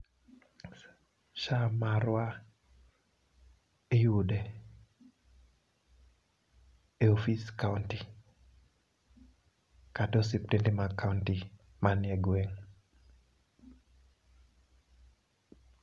SHA marwa iyude e ofis kaunti kata osiptende mag kaunti manie gweng'